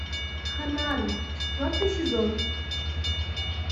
ханаан четвертый сезон